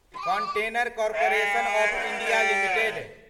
container corporation of India limited